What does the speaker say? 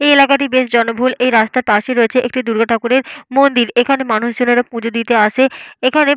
এই এলাকাটি বেশ জনবহুল। এই রাস্তার পাশে রয়েছে একটি দুর্গা ঠাকুরের মন্দির। এখানে মানুষের পুজো দিতে আসে। এখানে --